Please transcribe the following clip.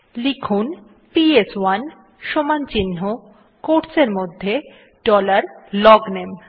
লিখুন পিএস1 সমান চিন্হ quotes এরমধ্যে ডলার লগনামে